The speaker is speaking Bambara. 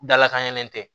Dalakan ɲɛnɛlen tɛ